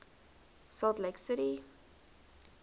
salt lake city